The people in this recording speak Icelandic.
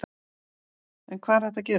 En hvað er hægt að gera?